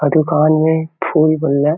अऊ दुकान मे फूल मन ल--